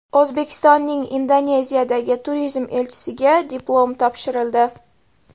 O‘zbekistonning Indoneziyadagi turizm elchisiga diplom topshirildi.